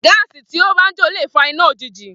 Gàsí tó ba ń jo le fà ìná òjíjì